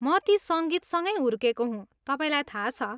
म ती सङ्गीतसँगै हुर्केको हुँ, तपाईँलाई थाहा छ।